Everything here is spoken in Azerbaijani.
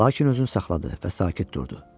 Lakin özünü saxladı və sakit durdu.